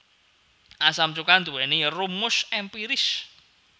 Asam cuka nduwèni rumus èmpiris